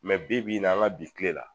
Mɛ bibi in na an ka bi kile la